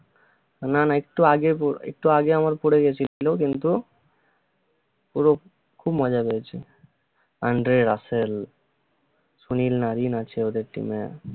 না না একটু আগে একটু আগে আমার পরে গেছিল কিন্তু পুরো খুব মজা পেয়েছি আন্ড্রে রাসেল, সুনিল নারিন আছে ওদের team এ